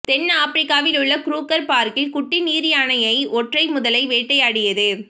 தென்னாப்பிரிக்காவில் உள்ள க்ரூகர் பார்கில் குட்டி நீர்யானையை ஒன்றை முதலை வேட்டையாடியது